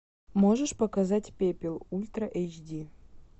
можешь показать пепел ультра эйч ди